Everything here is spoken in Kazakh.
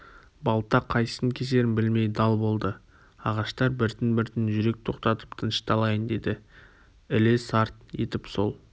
балта қайсысын кесерін білмей дал болды ағаштар біртін-біртін жүрек тоқтатып тынышталайын деді іле сарт етіп сол